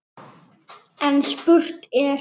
En spurt er: